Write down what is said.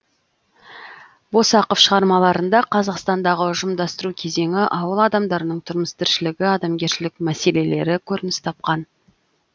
босақов шығармаларында қазақстандағы ұжымдастыру кезеңі ауыл адамдарының тұрмыс тіршілігі адамгершілік мәселелері көрініс тапқан